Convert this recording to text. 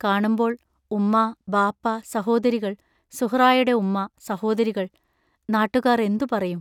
കാണുമ്പോൾ, ഉമ്മാ, ബാപ്പാ, സഹോദരികൾ, സുഹറായുടെ ഉമ്മാ, സഹോദരികൾ, നാട്ടുകാർ എന്തു പറയും?